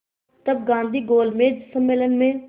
तब गांधी गोलमेज सम्मेलन में